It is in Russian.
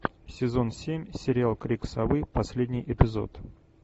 сезон семь сериал крик совы последний эпизод